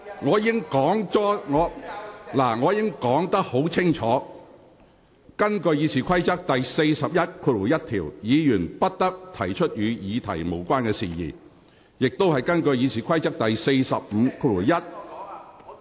我已清楚說明，根據《議事規則》第411條，議員不得提出與議題無關的事宜，而根據《議事規則》第451條......